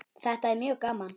Þetta er mjög gaman.